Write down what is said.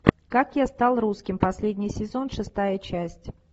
как я стал русским последний сезон шестая часть